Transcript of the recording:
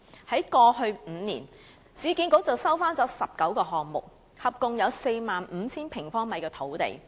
於過去5年，市建局接收了19個項目，合共有 45,000 平方米的土地。